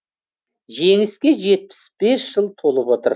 жеңіске жетпіс бес жыл толып отыр